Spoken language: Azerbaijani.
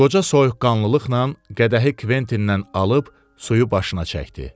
Qoca soyuqqanlılıqla qədəhi Kventindən alıb suyu başına çəkdi.